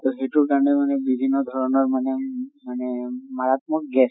তʼ সেইটোৰ কাৰণে মানে বিভিন্ন ধৰণৰ মানে মানে মাৰাত্মক gas